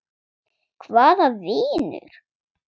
Hvaða vinur?